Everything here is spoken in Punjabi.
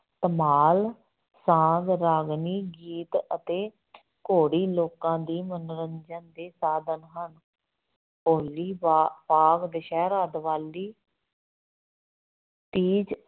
ਧਮਾਲ, ਸਾਂਗ, ਰਾਗਣੀ, ਗੀਤ ਅਤੇ ਘੋੜੀ ਲੋਕਾਂ ਦੀ ਮੰਨੋਰੰਜਨ ਦੇ ਸਾਧਨ ਹਨ ਹੋਲੀ ਬਾ ਭਾਵ ਦੁਸਹਿਰਾ, ਦਿਵਾਲੀ ਤੀਜ